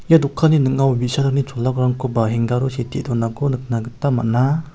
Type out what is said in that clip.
ia dokanni ning·ao bi·sarangni chola barangkoba hengar o sitee donako nikna gita man·a.